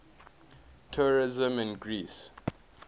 tourism in greece